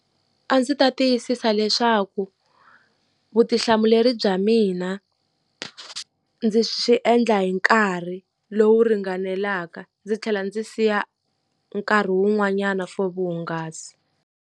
A ndzi ta tiyisisa leswaku vutihlamuleri bya mina ndzi swi endla hi nkarhi lowu ringanelaka, ndzi tlhela ndzi siya nkarhi wun'wanyana for vuhungasi.